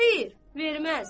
Xeyr, verməz.